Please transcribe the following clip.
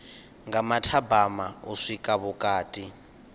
nga mathabama u swika vhukati